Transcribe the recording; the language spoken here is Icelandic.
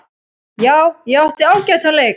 Já, ég átti ágætan leik.